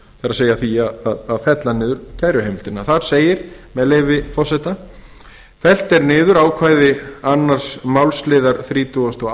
það er því að fella niður kæruheimildir þar segir með leyfi forseta fellt er niður ákvæði annarrar málsl þrítugasta og